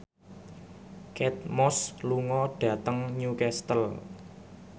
Kate Moss lunga dhateng Newcastle